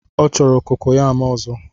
Ọ chọrọ kokoyam ozo